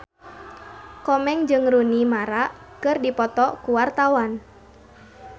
Komeng jeung Rooney Mara keur dipoto ku wartawan